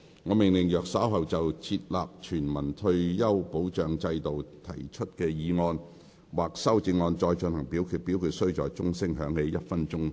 我命令若稍後就"設立全民退休保障制度"所提出的議案或修正案再進行點名表決，表決須在鐘聲響起1分鐘後進行。